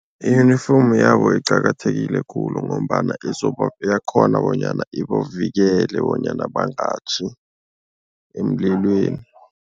Iyunifomu yabo iqakathekile khulu ngombana iyakghona bonyana ibavikele bonyana bangatjhi emlilweni.